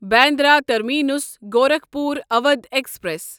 Bandra terminus Gorakhpur Awadh express